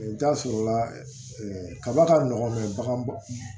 I bɛ taa sɔrɔla kaba ka nɔgɔn bagan